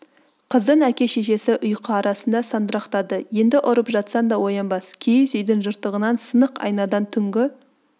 қыздың әке-шешесі ұйқы арасында сандырақтады енді ұрып жатсаң да оянбас киіз үйдің жыртығынан сынық айнадай түнгі